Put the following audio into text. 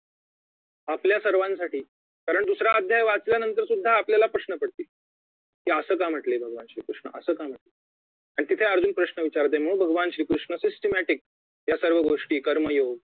आपल्या सर्वांसाठी कारण दुसरा अध्याय वाचल्यानंतर सुद्धा आपल्याला प्रश्न पडतील कि असं का म्हटले भगवान श्री कृष्ण असं का म्हंटले आणि तिथे अर्जुन प्रश्न विचारतोय मग भगवान श्री कृष्ण systematic यासर्वगोष्टी कर्म योग